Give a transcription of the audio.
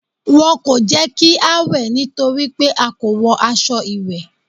Wọn kò jẹ́ kí á wẹ̀ nítorí pé a kò wọ aṣọ ìwẹ̀.